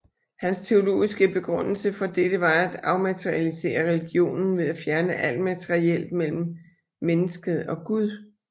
Hans teologiske begrundelse for dette var at afmaterialisere religionen ved at fjerne alt materielt mellem mennesket og Gud